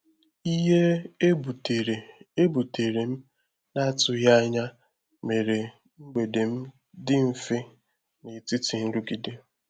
ìhè e butere e butere m n’atụghị anya mere mgbèdè m dị mfe n’etiti nrụgide.